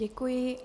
Děkuji.